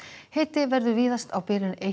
hiti verður víðast á bilinu eitt